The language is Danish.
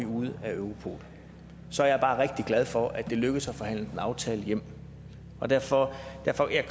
ude af europol så er jeg bare rigtig glad for at det lykkedes at forhandle en aftale hjem og derfor